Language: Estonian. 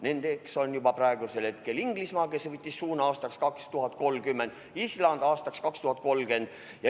Nendeks on juba praegusel hetkel Inglismaa, kes võttis suuna aastaks 2030, ja Island, samuti aastaks 2030.